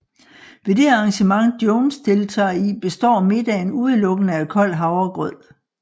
Ved det arrangement Jones deltager i består middagen udelukkende af kold havregrød